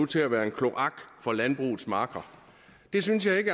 til at være en kloak for landbrugets marker jeg synes ikke